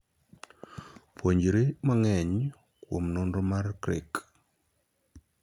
Puonjri mang'eny kuom nonro mar 'CRIC'.